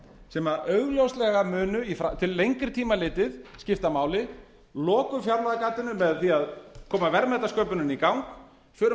sem augljóslega munu til lengri tíma litið skipta máli lokum fjárlagagatinu með því að koma verðmætasköpuninni í gang förum